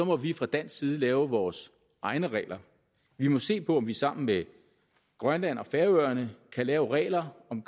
må vi fra dansk side lave vores egne regler vi må se på om vi sammen med grønland og færøerne kan lave regler om